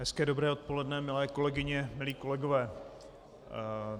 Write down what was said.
Hezké dobré odpoledne, milé kolegyně, milí kolegové.